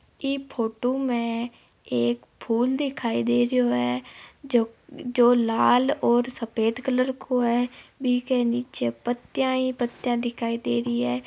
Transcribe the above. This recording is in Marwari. यह फोटो में एक फुल दिखाई दे रहा है जो लाल और सफेद कलर का है बीके निचे पत्तिया ही पत्तिया दिखाई दे रही है।